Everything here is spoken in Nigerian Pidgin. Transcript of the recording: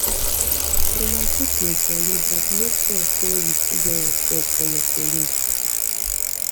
una fit dey jolly but make sure sey you still get respect for your colleagues